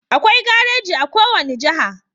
Akwai gareji a ko wani jaha